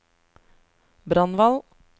Brandval